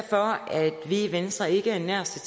vi i venstre ikke er nær så